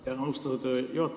Tänan, austatud juhataja!